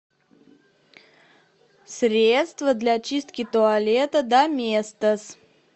средство для чистки туалета доместос